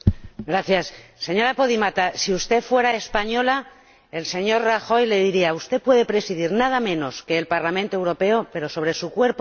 Señora Podimata, si usted fuera española el señor Rajoy le diría Usted puede presidir nada menos que el Parlamento Europeo, pero sobre su cuerpo mando yo.